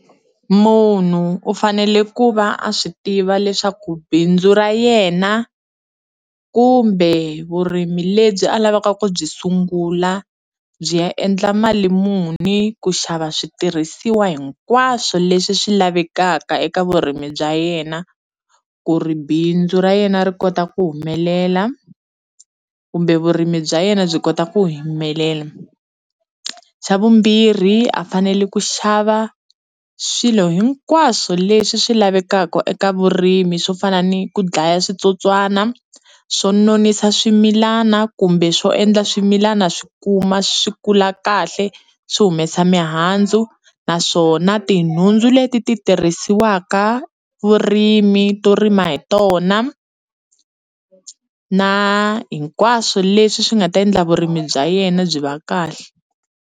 Munhu u fanele ku va a swi tiva leswaku bindzu ra yena kumbe vurimi lebyi a lavaka ku byi sungula byi ya endla mali muni ku xava switirhisiwa hinkwaswo leswi swi lavekaka eka vurimi bya yena ku ri bindzu ra yena ri kota ku humelela kumbe vurimi bya yena byi kota ku humelela, xa vumbirhi a fanele ku xava swilo hinkwaswo leswi swi lavekaka eka vurimi swo fana ni ku dlaya switsotswana swo nonisa swimilana kumbe swo endla swimilana swi kuma swi kula kahle swi humesa mihandzu naswona tinhundzu leti ti tirhisiwaka vurimi to rima hi tona na hinkwaswo leswi swi nga ta endla vurimi bya yena byi va kahle.